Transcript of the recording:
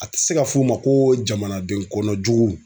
A tɛ se ka f'o ma ko jamanaden kɔnɔ jugu.